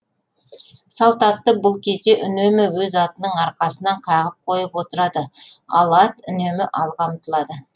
салт атты бұл кезде үнемі өз атының арқасынан қағып қойып отырады ал ат үнемі алға ұмтылады